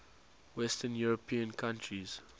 western european countries